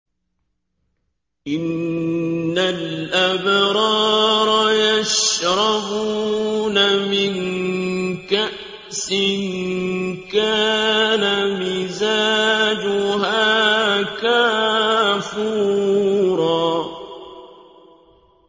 إِنَّ الْأَبْرَارَ يَشْرَبُونَ مِن كَأْسٍ كَانَ مِزَاجُهَا كَافُورًا